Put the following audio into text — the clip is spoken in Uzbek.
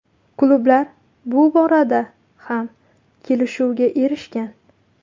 Klublar bu borada ham kelishuvga erishgan.